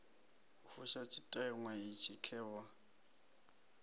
u fusha tshiteṅwa itshi khevha